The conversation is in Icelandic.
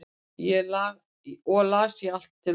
og las ég allt til loka